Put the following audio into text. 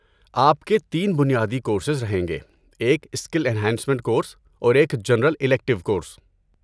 آپ کے تین بنیادی کورسز رہیں گے، ایک اسکل این ہانسمینٹ کورس، اور ایک جنرل الیکٹیو کورس۔